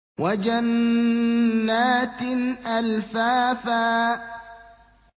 وَجَنَّاتٍ أَلْفَافًا